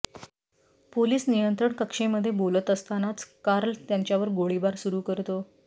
police नियंत्रण कक्षेमध्ये बोलत असतानाच कार्ल त्याच्यावर गोळिबार सुरु करतो